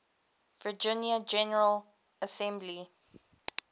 virginia general assembly